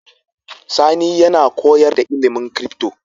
Sani yAna koyar da ilimin crypto